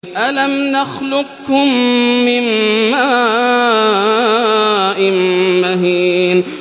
أَلَمْ نَخْلُقكُّم مِّن مَّاءٍ مَّهِينٍ